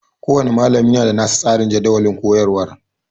Kowanne malami yana da nasa tsarin jadawalin koyarwar